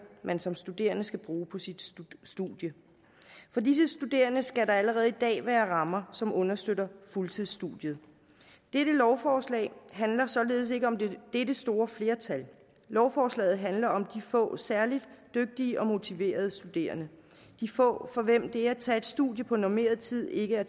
man som studerende skal bruge på sit studie for disse studerende skal der allerede i dag være rammer som understøtter fuldtidsstudiet dette lovforslag handler således ikke om dette store flertal lovforslaget handler om de få særlig dygtige og motiverede studerende de få for hvem det at tage et studie på normeret tid ikke er